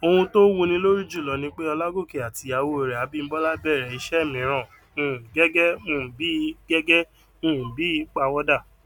ohun tó wúni lórí jùlo ni pé olágòkè àti ìyàwó rè abímbólá bèrè iṣẹ mìíràn um gẹgẹ um bí gẹgẹ um bí ìpawódà